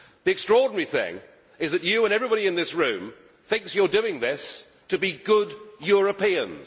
The extraordinary thing is that you and everybody in this room thinks you are doing this to be good Europeans.